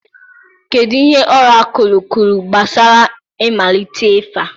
Kedu ihe ọrakụlụ kwuru gbasara mmalite ịfa?